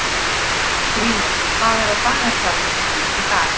Skrýmir, hvað er á dagatalinu mínu í dag?